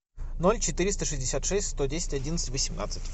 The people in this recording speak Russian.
ноль четыреста шестьдесят шесть сто десять одиннадцать восемнадцать